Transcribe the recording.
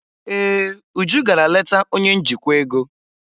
Ee, Uju gara leta onye njikwa ego.